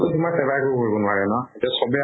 তোমাৰ SEBA এ একো কৰিব নোৱাৰে ন? এতিয়া চবে